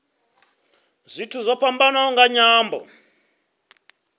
zwithu zwo fhambanaho nga nyambo